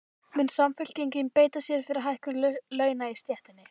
Mun Samfylkingin beita sér fyrir hækkun launa í stéttinni?